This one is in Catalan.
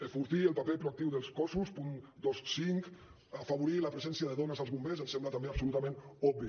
enfortir el paper proactiu dels cossos punt vint cinc afavorir la presència de dones als bombers ens sembla també absolutament obvi